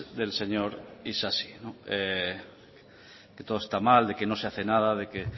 del señor isasi que todo está mal de que no se hace nada de que